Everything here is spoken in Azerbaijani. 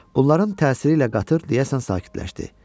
Bunların təsiri ilə qatır deyəsən sakitləşdi.